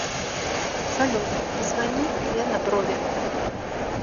салют позвони лена брови